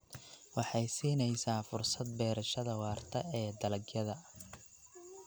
Waxay siinaysaa fursad beerashada waarta ee dalagyada.